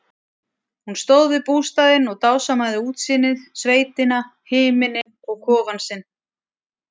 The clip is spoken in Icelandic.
Hún stóð við bústaðinn og dásamaði útsýnið, sveitina, himininn og kofann sinn.